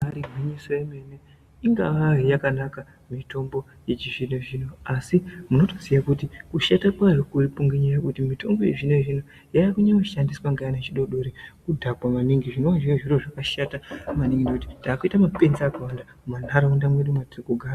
Ibari gwinyiso yemene ingavari yakanaka mitombo yechizvino zvino asi munotoziya kuti kusheka kwearikunyanya kuti mitombo yezvino zvino yakunyanya kushandiswa ngeana echidodori kudhakwa maningi zvinoo zviri zviro zvakashata maningi ngekuti taakuite mapenzi akawanda munharaunda medu matiri kugara